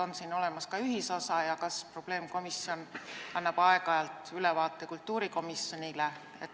On siin olemas ka ühisosa ja kas probleemkomisjon annab aeg-ajalt ülevaate kultuurikomisjonile?